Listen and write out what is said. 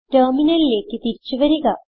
ടെർമിനലിലേക്ക് തിരിച്ചു വരിക